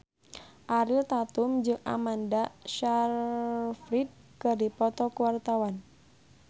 Ariel Tatum jeung Amanda Sayfried keur dipoto ku wartawan